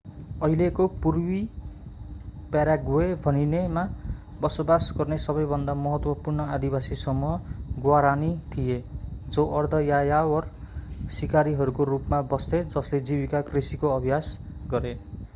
अहिलेको पूर्वी पाराग्वे भनिनेमा बसोवास गर्ने सबैभन्दा महत्त्वपूर्ण आदिवासी समूह ग्वारानी थिए जो अर्ध-यायावर सिकारीहरूको रूपमा बस्थे जसले जीविका कृषिको अभ्यास गरे